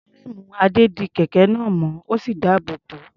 Fúréèmù Adé di kẹ̀kẹ́ náà mọ́, ó sì dáàbò bò ó.